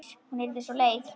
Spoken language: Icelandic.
Hún yrði svo leið.